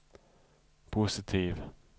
positiv